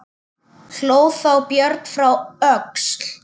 Hló þá Björn frá Öxl.